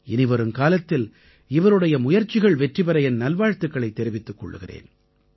இனி வருங்காலத்தில் இவருடைய முயற்சிகள் வெற்றிபெற என் நல்வாழ்த்துக்களைத் தெரிவித்துக் கொள்கிறேன்